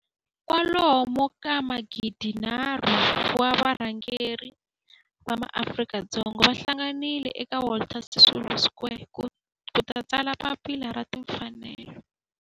kwalomu ka magidi nharhu, 3 000 wa varhangeri va maAfrika-Dzonga va hlanganile eka Walter Sisulu Square ku ta tsala Papila ra Tinfanelo.